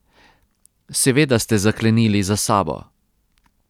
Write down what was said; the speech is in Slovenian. Seveda ste zaklenili za sabo.